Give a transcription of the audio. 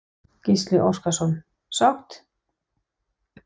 Gísli Óskarsson: Sátt?